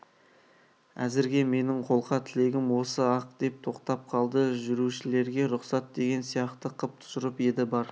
әзірге менің қолқа тілегім осы-ақ деп тоқтап қалды жүрушілерге рұқсат деген сияқты қып тұжырып еді бар